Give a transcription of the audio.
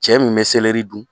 Cɛ min bɛ dun